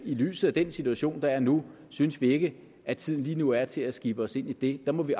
lyset af den situation der er nu synes vi ikke at tiden lige nu er til at skibe os ind i det der må vi